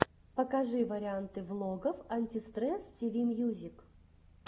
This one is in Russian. покажи варианты влогов антистресс тиви мьюзик